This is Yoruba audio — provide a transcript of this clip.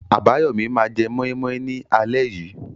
Abayomi máa jẹ moi moi ní alẹ́ yìí.